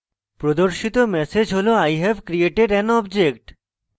প্রদর্শিত ম্যাসেজ হল i have created an object